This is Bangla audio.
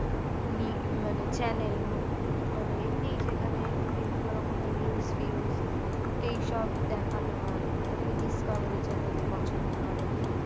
নি মানে channel মানে এমনি যেখানে বিভিন্ন রকমের news ফিঊজ এই সব দেখানো হয় অনেকে discovery channel পছন্দ করে